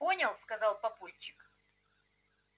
понял сказал папульчик